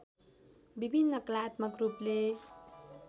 विभिन्न कलात्मक रूपले